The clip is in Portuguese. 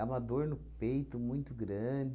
uma dor no peito muito grande.